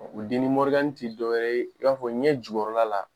O tɛ dɔwɛrɛ ye i b'a fɔ ɲɛ jukɔrɔla la